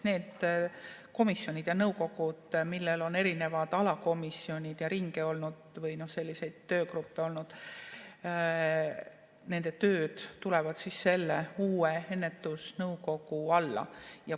Need komisjonid ja nõukogud, millel on erinevaid alakomisjone ja ringe või töögruppe olnud, nende töö tuleb selle uue ennetusnõukogu alla.